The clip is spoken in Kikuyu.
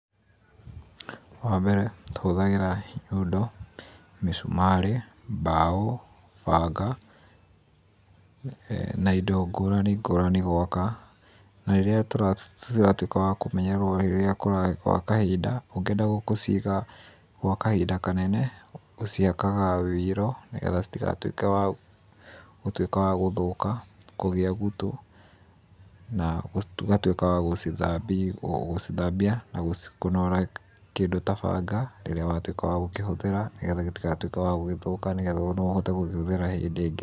Wa mbere, tũhũthagĩra nyundo, mĩcumarĩ, mbaũ, banga na indo ngũrani, ngũrani gwaka. Na rĩrĩa tũratuĩka a kũmenyerera gwa kahinda, ũngĩenda gũciiga gwa kahinda kanene, ũcihakaga ũiro nĩ getha citigatuĩke cia gũthũka, kũgĩa gutu, na ũgatuĩka wa gũcithambia na kũnoora kĩndũ ta banga rĩrĩa watuĩka wa gũkĩhũthĩra gĩtigatuĩke gĩa gũthũka tondũ no ũhũthĩre hĩndĩ ĩngĩ.